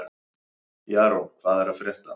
Jarún, hvað er að frétta?